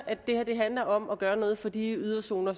det her handler om at gøre noget for de yderzoner